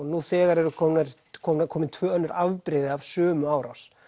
nú þegar eru komin komin komin tvö önnur afbrigði af sömu árás